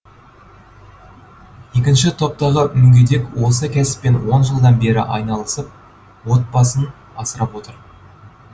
екінші топтағы мүгедек осы кәсіппен он жылдан бері айналысып отбасын асырап отыр